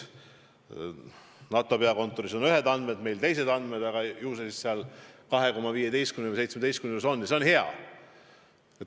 NATO peakontoril on ühed andmed, meil teised andmed, aga ju see protsent 2,15 või 2,17 on ja see on hea.